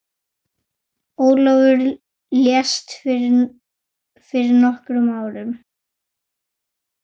Ólafur lést fyrir nokkrum árum.